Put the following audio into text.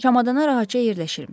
Kamanına rahatca yerləşirmiş.